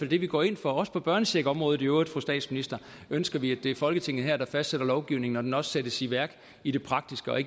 det vi går ind for også på børnecheckområdet i øvrigt fru statsminister ønsker vi at det er folketinget her der fastlægger lovgivningen når den også sættes i værk i det praktiske og at